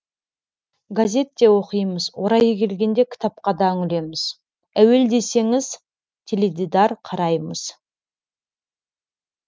газет те оқимыз орайы келгенде кітапқа да үңілеміз әуел десеңіз теледидар қараймыз